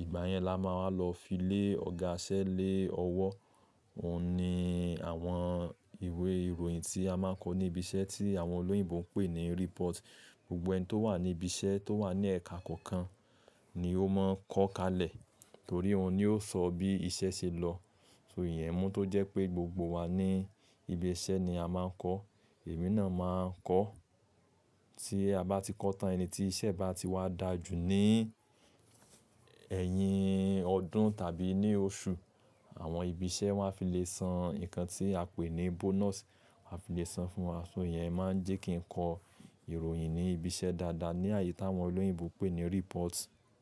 Ìgbà yẹn la máa wá lọ fi lé ọ̀gá iṣẹ lé ọwọ́. Òun ni àwọn ìwé ìròyìn tí a máa ń kọ ní ibi iṣẹ́ tí àwọn olóyìnbó ń pè ní report. Gbogbo ẹni tó wà ní ibi iṣẹ́ tó wà ní ẹ̀ka kọ̀ọ̀kan ni ó máa ń kọ̀ kalẹ̀ torí òun ni ó sọ bí iṣẹ́ ṣe lọ. So ìyẹn mú tó jẹ́ pé gbogbo wa ní ibi iṣẹ́ ni a máa ń kọ. Èmi náà máa ń kọ́. Tí a bá ti kọ́ tán ẹni tí iṣẹ́ bá ti wá dà jù ní ẹ̀yìn ọdún tàbí ní oṣù, àwọn ibi iṣẹ́ máa fi le san nǹkan tí a pè ní bonus. A fi le san fún wa. So ìyẹn máa ń jẹ́ kí n kọ ìròyìn ní ibi iṣẹ́ dáadáa ní àyè tí àwọn olóyìnbó pè ní report.